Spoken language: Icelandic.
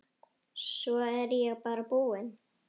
Svo er ég bara búin.